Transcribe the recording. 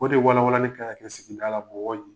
Ko de wawa ni karata kɛ sigida la bɔ ye.